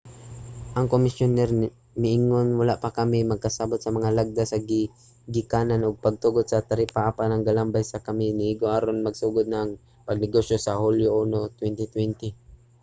ang komisyoner miingon wala pa kami nagkasabut sa mga lagda sa gigikanan ug pagtugot sa taripa apan ang gambalay nga anaa kami igo na aron magsugod ang pagnegosyo sa hulyo 1 2020